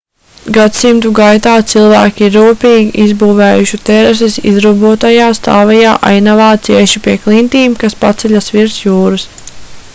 gadsimtu gaitā cilvēki ir rūpīgi izbūvējuši terases izrobotajā stāvajā ainavā cieši pie klintīm kas paceļas virs jūras